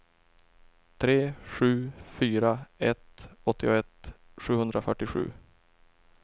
tre sju fyra ett åttioett sjuhundrafyrtiosju